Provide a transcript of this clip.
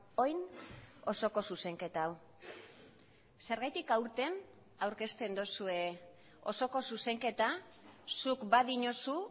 orain osoko zuzenketa hau zergatik aurten aurkezten duzue osoko zuzenketa zuk badiozu